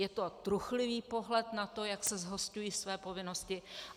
Je to truchlivý pohled na to, jak se zhosťují své povinnosti.